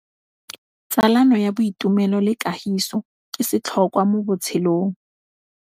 Tsalano ya boitumelo le kagiso ke setlhôkwa mo botshelong.